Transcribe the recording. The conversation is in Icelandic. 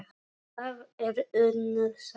Það er önnur saga.